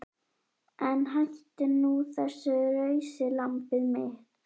En hættu nú þessu rausi lambið mitt.